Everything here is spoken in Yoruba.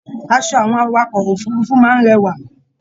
Aṣọ àwọn awakọ̀ òfurùnfu máa n rẹwà.